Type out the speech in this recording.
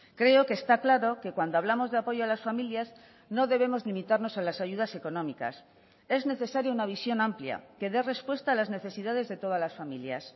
creo que está claro que cuando hablamos de apoyo a las familias no debemos limitarnos a las ayudas económicas es necesaria una visión amplia que dé respuesta a las necesidades de todas las familias